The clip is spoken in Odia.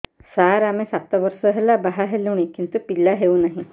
ସାର ଆମେ ସାତ ବର୍ଷ ହେଲା ବାହା ହେଲୁଣି କିନ୍ତୁ ପିଲା ହେଉନାହିଁ